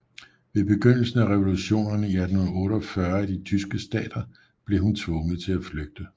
Ved begyndelsen af revolutionerne i 1848 i de tyske stater blev hun tvunget til at flygte